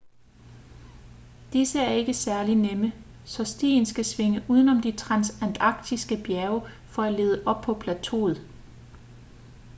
disse er ikke særligt nemme så stien skal svinge udenom de transantarktiske bjerge for at lede op på plateauet